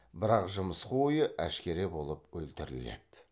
бірақ жымысқы ойы әшкере болып өлтіріледі